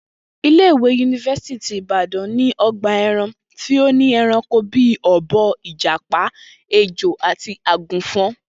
Ilé-ìwé yunifásítì ti Ìbàdàn ní o̩gbà e̩ran tí ó ní e̩ranko bí i ò̩bo̩, ìjàpá, ejò àti àgùnfo̩n